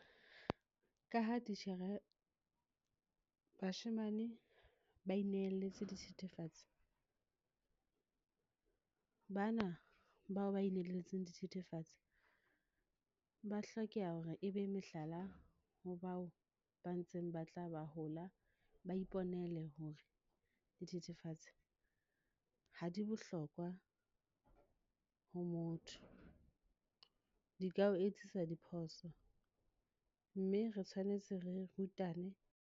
Ka ha titjhere bashemane ba inehelletse dithethefatsi. Bana bao ba inehelletse dithethefatsi ba hlokeha hore ebe mehlala ho bao ba ntseng ba tla ba hola ba iponele hore, dithethefatsi ha di bohlokwa ho motho. Di ka o etsisa diphoso mme re tshwanetse re rutane.